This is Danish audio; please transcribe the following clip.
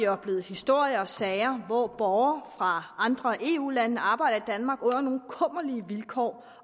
oplevet historier og sager hvor borgere fra andre eu lande arbejder i danmark under nogle kummerlige vilkår